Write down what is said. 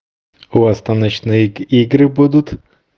у вас там ночные игры будут